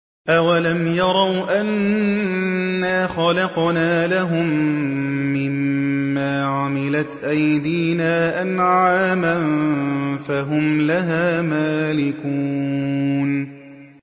أَوَلَمْ يَرَوْا أَنَّا خَلَقْنَا لَهُم مِّمَّا عَمِلَتْ أَيْدِينَا أَنْعَامًا فَهُمْ لَهَا مَالِكُونَ